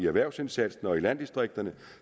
erhvervsindsatsen i landdistrikterne